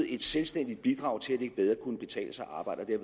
et selvstændigt bidrag til at arbejde